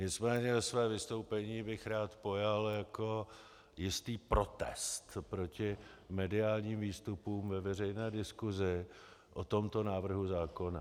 Nicméně své vystoupení bych rád pojal jako jistý protest proti mediálním výstupům ve veřejné diskusi o tomto návrhu zákona.